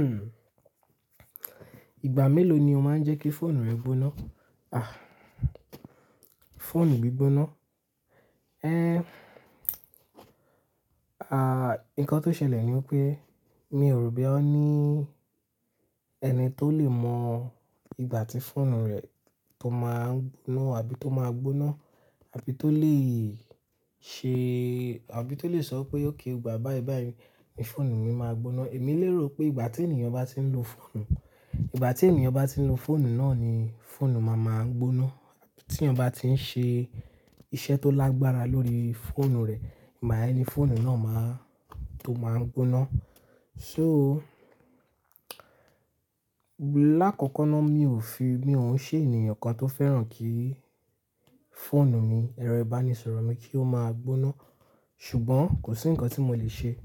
Hmm. Ìgbà mélòó ni o máa ń jẹ́ kí fóònù rẹ gbóná? À, fóònù mi gbóná? Ǹkan tó ṣẹlẹ̀ ni pé mi ò rò boya oní ẹni tó lè mọ ìgbà tí fóònù rẹ̀ tó máa n gbóná àbí tó máa gbóná, àbí tó lè ṣe àbí tó lè sọ pé okay ìgbà báyìí báyìí ní fóònù mi máa gbóná. Èmi lérò pé ìgbà tí ènìyàn bá tí ń lo fóònù, ìgbà tí ènìyàn bá tí ń lo fóònù náà ni fóònù máa máa ń gbóná. Tí èèyàn bá tí ń ṣe iṣẹ́ tó lágbára lórí fóònù rẹ̀, ìgbà yẹn ní fóònù náà máa tó máa ń gbóná. So, lakọkọ náà mi ò fi-- mi ò ń ṣe ènìyàn kan tó fẹ́ràn kí fóònù mi, ẹ̀rọ ìbánisọ̀rọ̀ mi kí ó máa gbóná. Ṣùgbọ́n kò sí ǹkan tí mo lè ṣe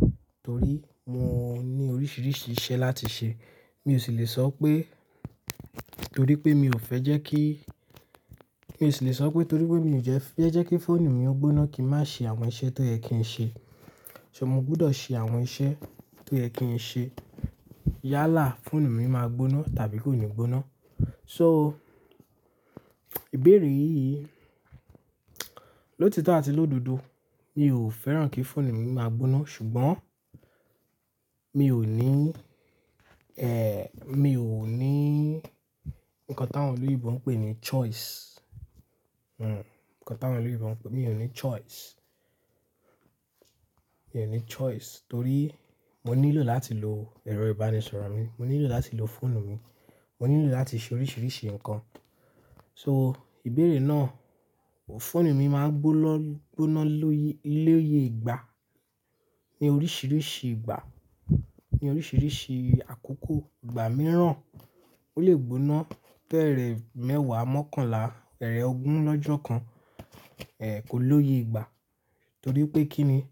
torí mo ní oríṣìíríṣìí iṣẹ́ láti ṣe. Mi ò sì lè sọ pé torí pé mi ò fẹ́ jẹ́ kí-- mi ò sì lè sọ pé torí pé mi ò fẹ́ jẹ́ kí fóònù mi ó gbóná kí n má ṣe àwọn iṣẹ́ tó yẹ kí n ṣe. Ṣé ni mo gbọdọ̀ ṣe àwọn iṣẹ́ tó yẹ kí n ṣe yálà fóònù mi máa gbóná tàbí kó ni gbóná? So, ìbéèrè yìí, lotitọ ati l'ododo. Mi ò fẹ́ràn kí fóònù mi máa gbóná, ṣùgbọ́n mi ò ní ǹkan táwọn olóyìnbó ń pè ní choice. Mi ò ní choice torí mo nílò láti lo ẹ̀rọ ìbánisọ̀rọ̀ mi, mo nílò láti lo fóònù mi, mo nílò láti ṣe oríṣìíríṣìí ǹkan. So, ìbéèrè náà, fóònù mi máa gbóná lóye, lóye ìgbà, ní oríṣìíríṣìí ìgbà, ní oríṣìíríṣìí àkókò. Ìgbà mìíràn ó lè gbóná tẹ́rẹẹ̀ mẹ́wàá mọ́kànlá, tẹ́rẹẹ̀ ogún lọ́jọ́ kan, kó lóye ìgbà. Torí pé kí ni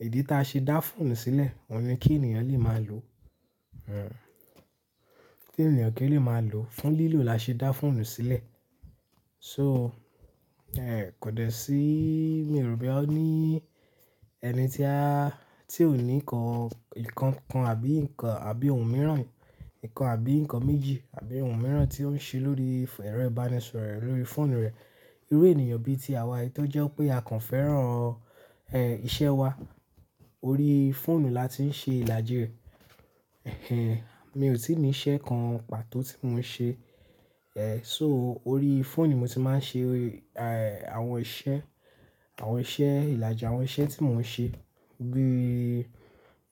ìdí tí a ṣe dá fóònù sílẹ̀? Ohun ní kí ènìyàn lè máa lo. Hmm. Kí ènìyàn kí ó lè máa lo. Fún lílò la ṣe dá fóònù sílẹ̀. So, kò dẹ sí-- mi ò rò boya o ní ẹnití ò ní nǹkan, ìkankan àbí nǹkan àbí ohun mìíràn, nǹkan àbí nǹkan méjì àbí ohun mìíràn tí ó ń ṣe lórí ẹ̀rọ ìbánisọ̀rọ̀ rẹ̀, lórí fóònù rẹ̀. Irú ènìyàn bíi ti àwa yìí tó jẹ́ pé a kàn fẹ́ràn ìṣe wa. Orí fóònù la ti ń ṣe ìlàjì rẹ̀. Mi ò tíì ní iṣẹ́ kan pàtó tí mò ń ṣe. So, orí fóònù mo ti máa ń ṣe àwọn iṣẹ́, àwọn iṣẹ́ ìlàjì, àwọn iṣẹ́ tí mò ń ṣe bí,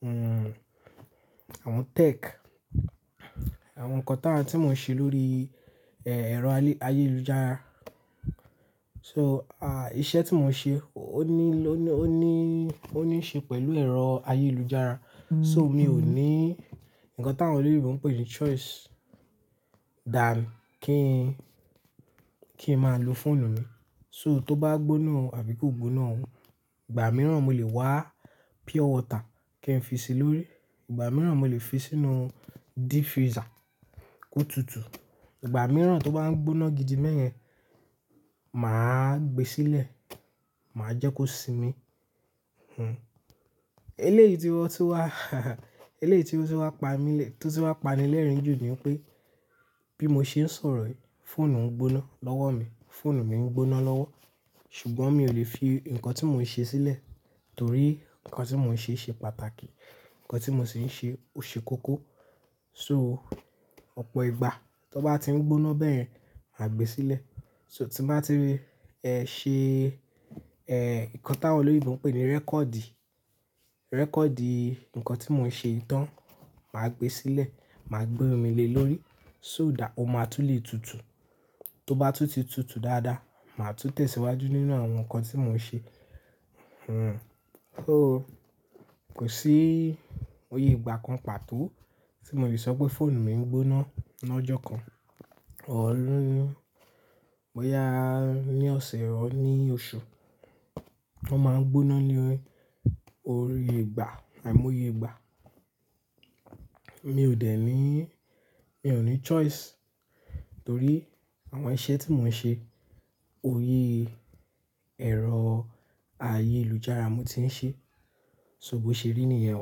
hmm, àwọn tech, àwọn ǹkan táa tí mò ń ṣe lórí ẹ̀rọ ayélujára. So, à, iṣẹ́ tí mò ń ṣe ó ní ló-- ó ní, ó ní í ṣe pẹ̀lú ẹ̀rọ ayélujára. So, mi ò ní ǹkan táwọn olóyìnbó ń pè ní choice dan kí n máa lo fóònù mi. So, tó bá gbóná àbí kò gbóná, òun, ìgbà mìíràn mo lè wa pure water kí n fi si lórí, ìgbà mìíràn mo lè fi sínú deep freezer kó tutù. Ìgbà mìíràn tó bá ń gbóná gidi bẹyẹn, màá gbe sílẹ̀, màá jẹ́ kó sinmi. Eléyìí tí ó ti wá, eléyìí tí ó tun wá pa ni lẹ́rìn jù ni pé bí mo ṣe ń sọ̀rọ̀ yìí, fóònù ń gbóná lọ́wọ́ mi, fóònù mi ń gbóná lọ́wọ́, ṣùgbọ́n mi ò lè fi ǹkan tí mò ń ṣe sílẹ̀ torí ǹkan tí mò ń ṣe ṣe pàtàkì, ǹkan tí mò sì ń ṣe ó ṣe kókó. So, ọ̀pọ̀ ìgbà tó bá ti ń gbóná bẹ́yẹn, màá gbe sílẹ̀. So, tí màá ti ri ṣe ǹkan táwọn olóyèbo ń pè ní record, record ǹkan tí mò ń ṣe tán, màá gbe sílẹ̀, màá gbé omi le lórí. So, ó máa tún lè tutù. Tó bá tún ti tutù dáadáa, màá tún tẹ̀síwájú nínú àwọn ǹkan tí mò ń ṣe. Kò sí òye ìgbà kan pàtó tí mo lè sọ pé fóònù mi ń gbóná lọ́jọ́ kan, boyá ní ọ̀sẹ̀ or ní oṣù. Wọ́n máa ń gbóná ní òye, òye ìgbà àìmóye ìgbà. Mi ò dẹ̀ ní, mi ò ní choice torí àwọn iṣẹ́ tí mò ń ṣe, ori ẹ̀rọ ayélujára mo ti ń ṣe. So, bó ṣe rí nìyẹn.